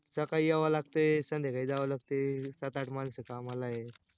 सकाळी याव लागतय, संध्याकाळी जाव लागतय, सात आठ माणसं कामाला आहे